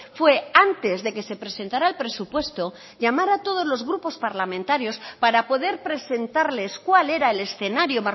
fue antes de que se presentara el presupuesto llamar a todos los grupos parlamentarios para poder presentarles cuál era el escenario